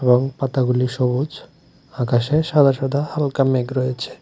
এবং পাতাগুলি সবুজ আকাশে সাদা সাদা হালকা মেঘ রয়েছে।